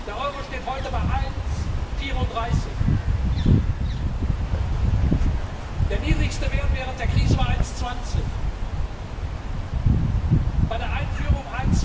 Der Euro steht heute zum US Dollar bei 1,34. Der niedrigste Wert während der Krise war 1,20, bei der Einführung